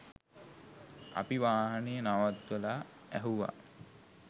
අපි වාහනය නවත්වලා ඇහුවා